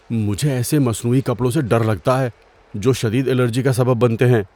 مجھے ایسے مصنوعی کپڑوں سے ڈر لگتا ہے جو شدید الرجی کا سبب بنتے ہیں۔